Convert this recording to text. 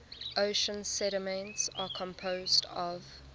ocean sediments are composed of